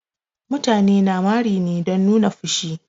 Mutane na mari ne don nuni da fushi.